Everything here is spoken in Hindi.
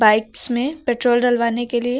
बाइक्स में पेट्रोल डलवाने के लिए--